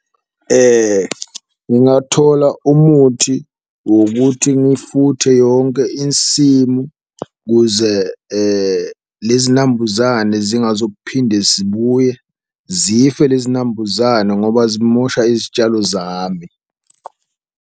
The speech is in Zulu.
Ngingathola umuthi wokuthi ngifuthe yonke insimu ukuze lezi nambuzane zingazo kuphinde zibuye, zife lezi nambuzane ngoba zimosha izitshalo zami.